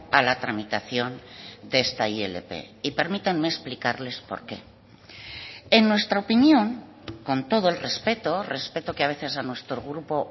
a la tramitación de esta ilp y permítanme explicarles por qué en nuestra opinión con todo el respeto respeto que a veces a nuestro grupo